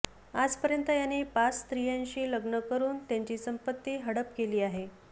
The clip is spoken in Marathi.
आजपर्यंत याने पाच स्त्रियांशी लग्न करून त्यांची संपत्ती हडप केली आहे